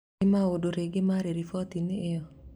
Nĩ maũndũ rĩngĩ marĩ riboti-inĩ ĩyo?